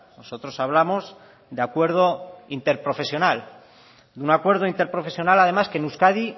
nosotros hablamos de acuerdo interprofesional de un acuerdo interprofesional además que en euskadi